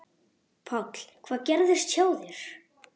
Páll: Hvað gerðist hjá þér?